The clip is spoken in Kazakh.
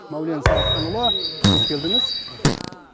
мәулен сағатханұлы қош келдіңіз рахмет